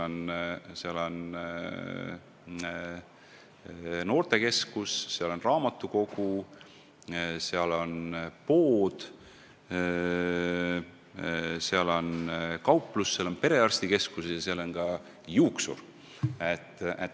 Seal on noortekeskus, seal on raamatukogu, seal on pood, seal on kauplus, seal on perearstikeskus ja seal on ka juuksur.